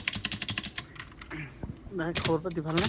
ing বাকী খবৰ পাতি ভাল নে?